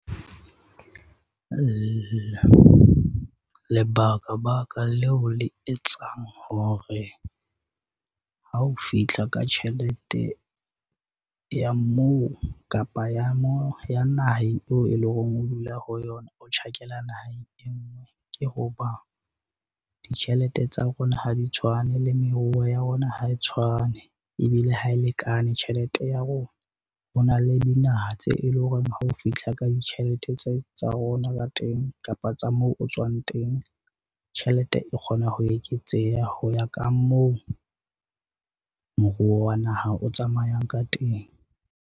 Lebaka-baka leo le etsang hore ha o fihla ka tjhelete ya moo kapa ya ya naheng eo e leng hore o dula ho yona, o tjhakela naheng e nngwe. Ke ho ba ditjhelete tsa rona ha di tshwane le meruo ya rona, ha e tshwane ebile ha e lekane tjhelete ya rona. Ho na le dinaha tse e leng hore ha o fihla ka ditjhelete tsa rona ka teng kapa tsa moo o tswang teng. Tjhelete e kgona ho eketseha ho ya ka moo moruo wa naha o tsamayang ka teng.